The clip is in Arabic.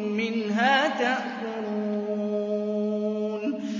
مِّنْهَا تَأْكُلُونَ